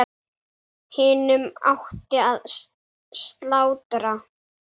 Hinum átti að slátra.